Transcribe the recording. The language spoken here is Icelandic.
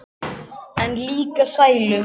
En líka sælu.